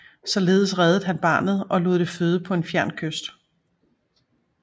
Således reddede han barnet og lod det føde på en fjern kyst